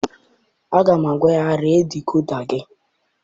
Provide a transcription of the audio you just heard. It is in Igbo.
Aga m agwa ya, ree dikoda gị!